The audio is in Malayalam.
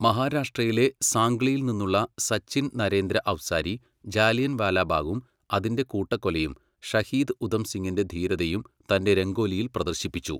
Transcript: മഹാരാഷ്ട്രയിലെ സാംഗ്ലിയിൽ നിന്നുള്ള സച്ചിൻ നരേന്ദ്ര അവ്സാരി ജാലിയൻവാലാബാഗും അതിന്റെ കൂട്ടക്കൊലയും ഷഹീദ് ഉധം സിങ്ങിന്റെ ധീരതയും തന്റെ രംഗോലിയിൽ പ്രദർശ്ശിപ്പിച്ചു.